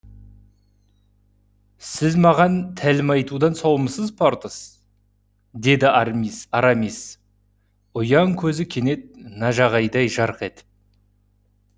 сіз маған тәлім айтудан саумысыз портос деді арамис ұяң көзі кенет нажағайдай жарқ етіп